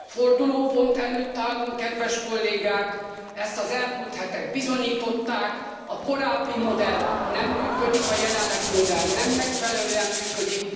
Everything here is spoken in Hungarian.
Fordulópont előtt állunk, kedves kollégák, ezt az elmúlt hetek bizonyították, a korábbi modell nem működik, a jelenlegi modell nem megfelelően működik.